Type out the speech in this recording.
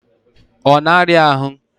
Ọ na-arịa ahụ?